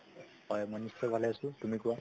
হয় মই নিশ্চয় ভালে আছো, তুমি কোৱা